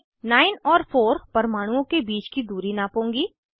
मैं 9 और 4 परमाणुओं के बीच की दूरी नापूंगी